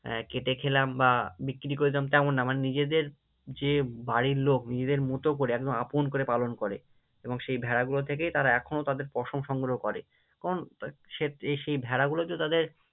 আহ কেটে খেলাম বা বিক্রি করে দিলাম তেমন না, মানে নিজেদের যে বাড়ির লোক নিজেদের মতো করে একদম আপন করে পালন করে এবং সেই ভেড়া গুলো থেকেই তারা এখনও তাদের পশম সংগ্রহ করে, কারণ সেই ভেড়া গুলো তো তাদের